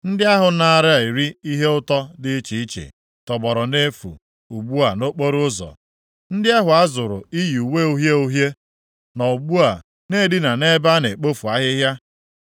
Ndị ahụ naara eri ihe ụtọ dị iche iche tọgbọrọ nʼefu ugbu a nʼokporoụzọ. Ndị ahụ a zụrụ iyi uwe uhie uhie nọ ugbu a na-edina nʼebe a na-ekpofu ahịhịa.